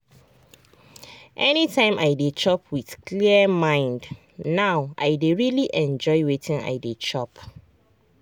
anytime i dey chop with clear mind now i dey really enjoy wetin i dey chop.